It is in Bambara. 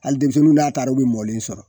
Hali denmisɛnninw n'a taara u be mɔlen sɔrɔ.